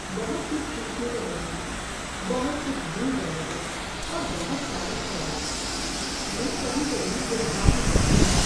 بہت کچھ سیکھنے کو ملتا ہے، بہت کچھ بھول جانے کو، اور بہت سارے خیالات، میں کبھی کبھی جذباتی ہو جاتا ہوں۔